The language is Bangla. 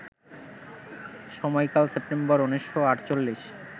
সময়কাল সেপ্টেম্বর ১৯৪৮